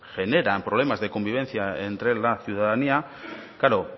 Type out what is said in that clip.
generan problemas de convivencia entre la ciudadanía claro